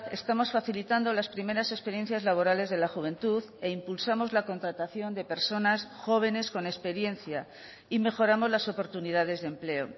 estamos facilitando las primeras experiencias laborales de la juventud e impulsamos la contratación de personas jóvenes con experiencia y mejoramos las oportunidades de empleo